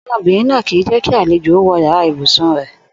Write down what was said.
Ò̩dó̩mo̩bìnrin náà kì í jé̩ kí àlejò ó wo̩ yàrá ibùsùn rè̩